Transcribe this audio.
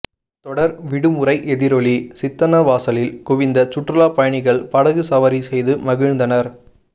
தொடர் விடுமுறை எதிரொலி சித்தன்னவாசலில் குவிந்த சுற்றுலா பயணிகள் படகு சவாரி செய்து மகிழ்ந்தனர்